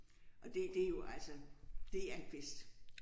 Og det det er jo altså. Det er en fest